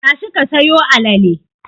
Tashi ka sayo alale!